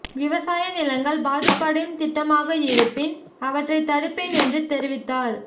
விவசாய நிலங்கள் பாதிப்படையும் திட்டமாக இருப்பின் அவற்றை தடுப்பேன் என்று தெரிவித்தார்